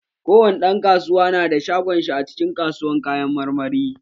Kowani ɗan kasuwa nada shagon shi a cikin kasuwan kayan marmari.